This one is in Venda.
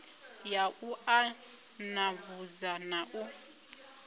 ya u ṱanḓavhudza na u